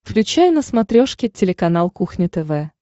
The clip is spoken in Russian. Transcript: включай на смотрешке телеканал кухня тв